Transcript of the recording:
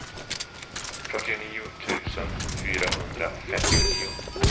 fyrtionio tusen fyrahundrafemtionio